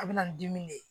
A bɛ na ni dimi de ye